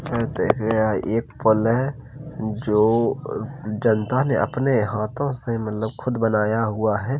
ये देखिये यह एक पुल है। जो जनता ने अपने हाथों से मतलब खुद बनाया हुआ है।